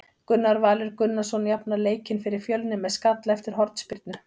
Gunnar Valur Gunnarsson jafnar leikinn fyrir Fjölni með skalla eftir hornspyrnu.